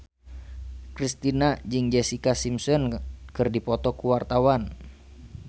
Kristina jeung Jessica Simpson keur dipoto ku wartawan